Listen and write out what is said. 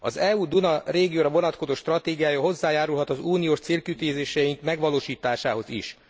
Az EU Duna régióra vonatkozó stratégiája hozzájárulhat az uniós célkitűzéseink megvalósításához is.